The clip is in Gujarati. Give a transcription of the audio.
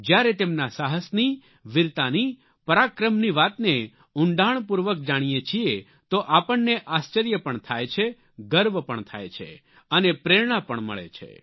જ્યારે તેમના સાહસની વીરતાની પરાક્રમની વાતને ઉંડાણપૂર્વક જાણીયે છીએ તો આપણને આશ્ચર્ય પણ થાય છે ગર્વ પણ થાય છે અને પ્રેરણા પણ મળે છે